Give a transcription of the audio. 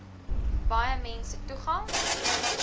baie mense toegang